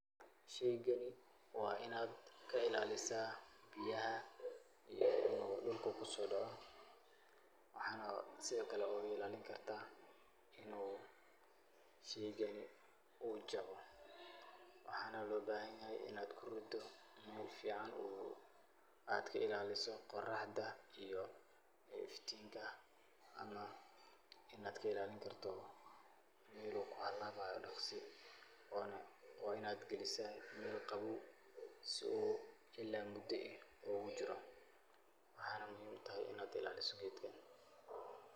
Sheygani waa inaad ka ilaalisaa biyaha iyo inuu dhulka ku soo daco. Waxaana sidoo kale uguilaalinkartaa in uu sheygani jabo. Waxaana loo baahan yahay inaad ku riddo meel fiican oo aad ka ilaaliso qoraxda iyo iftinka, ama inaad ka ilaalinkarto meel uu ku halaabayo dakhsi. Waa in aad gelisaa meel qabow si uu ila muddo eh uugu jiro. Waxaana muhiim ah inaad ilaaliso geedkan.